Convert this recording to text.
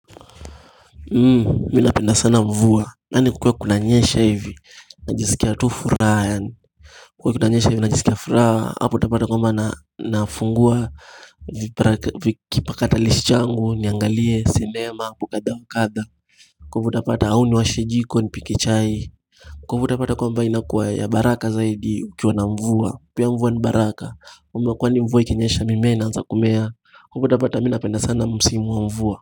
Mimi napenda sana mvua yaani kukiwa kunanyesha hivi najisikia tu furaha yaani Kukiwa kunanyesha hivi najisikia furaha hapo utapata kwambwa na nafungua Vipra vikipakatalishi changu niangalie cinema kukadha ukadha Kukwe utapata hauni washijiko npike chai Kukwe utapata kumbwa inakuwa ya baraka zaidi ukiwa na mvua pia mvua ni baraka kumbwa kwani mvua ikinyesha mimea naanza kumea kwa hivo utapata mimi napenda sana msimu wa mvua.